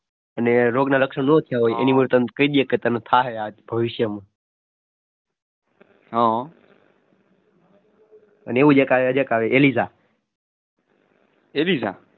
અને રોગના લક્ષણ નો થયા હોય ભવિષ્યમાં હો